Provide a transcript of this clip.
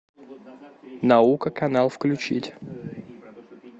наука канал включить